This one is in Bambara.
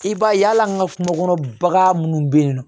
I b'a ye hali an ka kungo kɔnɔ bagan munnu be yen nɔ